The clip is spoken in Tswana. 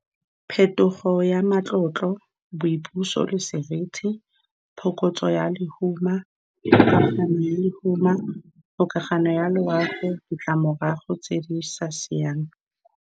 Phetogo ya matlotlo, boipuso le seriti, phokotso ya lehuma, ya lehuma, kgokagano ya loago, ditlamorago tse di sa siamang.